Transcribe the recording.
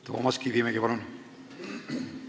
Toomas Kivimägi, palun!